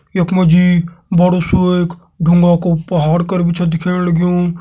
यख मजी बड़ु सु एक ढुंगा को पहाड़ कर भी छ दिखेण लग्यूं।